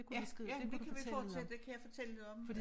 Ja ja det kan vi fortsætte det kan jeg fortælle om